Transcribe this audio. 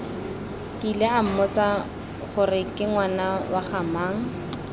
kile ammotsa goreke ngwana wagamang